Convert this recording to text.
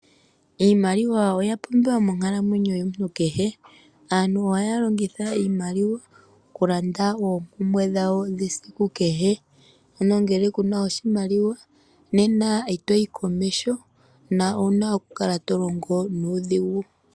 Iimaliwa oya pumbiwa monkalamwenyo yomuntu kehe. Aantu ohaya longitha iimaliwa oku landa oompumbwe dhawo dhesiku kehe. Ano ngele kuna oshimaliwa itoyi komeho na owuna oku kala to longo nuudhingu.